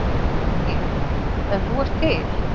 Helgi: En þú ert til?